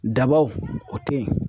Dabaw o te yen.